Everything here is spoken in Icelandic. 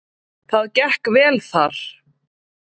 Það gekk vel þar.